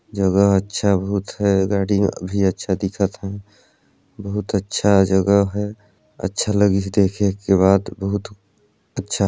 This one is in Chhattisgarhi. जगह अच्छा बहुत है गाड़ी भी अच्छा दिखत ह बहुत अच्छा जगह है अच्छा लगही देखे के बाद बहुत अच्छा।